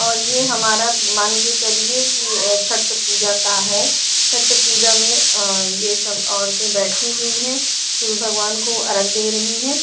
और ये हमार मान के चलिए की छट पूजा का है छट पूजा में अ ये सब ओरते बेठी हुई है सूरज भगवान को अर्क दे रही है।